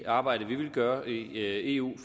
arbejde vi vil gøre i eu